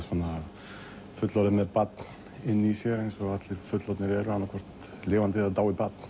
fullorðinn með barn inni í sér eins og allir fullorðnir eru annað hvort lifandi eða dáið barn